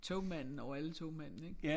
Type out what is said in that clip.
Togmanden over alle togmændene ik?